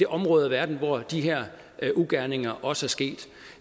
område af verden hvor de her ugerninger også er sket